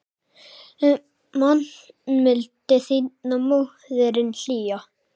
Man mildi þína móðirin hlýja.